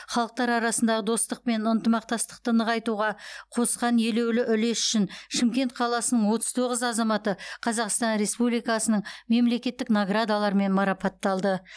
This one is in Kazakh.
халықтар арасындағы достық пен ынтымақтастықты нығайтуға қосқан елеулі үлесі үшін шымкент қаласының отыз тоғыз азаматы қазақстан республикасының мемлекеттік наградаларымен марапатталды